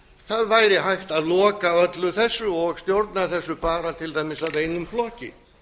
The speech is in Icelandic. það væri hægt að loka öllu þessu og stjórna þessu bara til dæmis af einum flokki